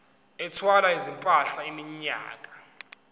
ethwala izimpahla iminyaka